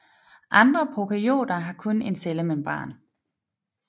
Andre prokaryoter har kun en cellemembran